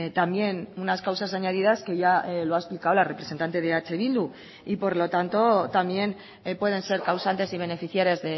también unas causas añadidas que ya lo ha explicado la representante de eh bildu y por lo tanto también pueden ser causantes y beneficiarias